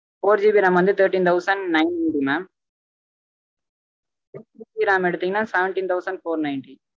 fourGBRAM வந்து thirteen thousand nine eightymamsixGBRAM எடுத்தீங்கனா seventeen thousand four ninety